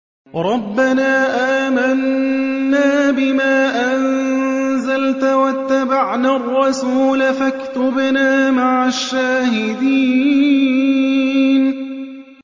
رَبَّنَا آمَنَّا بِمَا أَنزَلْتَ وَاتَّبَعْنَا الرَّسُولَ فَاكْتُبْنَا مَعَ الشَّاهِدِينَ